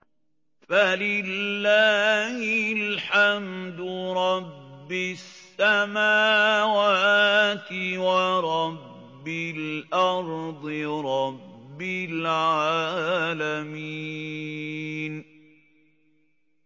فَلِلَّهِ الْحَمْدُ رَبِّ السَّمَاوَاتِ وَرَبِّ الْأَرْضِ رَبِّ الْعَالَمِينَ